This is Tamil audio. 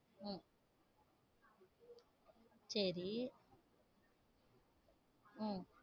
உம் சரி உம்